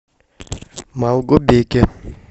малгобеке